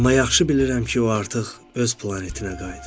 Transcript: Amma yaxşı bilirəm ki, o artıq öz planetinə qayıdıb.